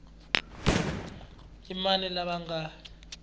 i mani lava va nga